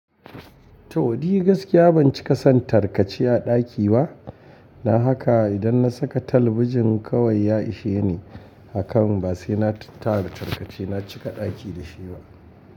To ni gaskiya ban cika son tarkace a ɗaki ba. Dan haka idan na saka talabijin kawai ya ishe ni. Akan ba sai na tara tarkace na cika ɗaki da shi ba.